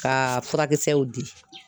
Ka furakisɛw di.